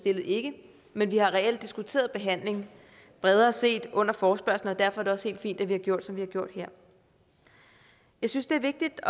ikke ikke men vi har reelt diskuteret behandling bredere set under forespørgslen og derfor er det også helt fint at vi har gjort som vi har gjort her jeg synes det er vigtigt